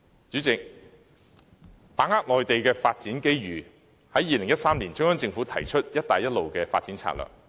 主席，為把握內地發展機遇 ，2013 年中央政府提出"一帶一路"發展策略。